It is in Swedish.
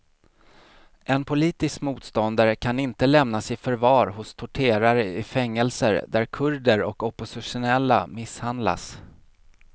En politisk motståndare kan inte lämnas i förvar hos torterare i fängelser där kurder och oppositionella misshandlas.